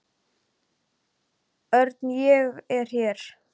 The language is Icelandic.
Örn, ég er hér